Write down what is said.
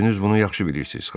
Özünüz bunu yaxşı bilirsiz.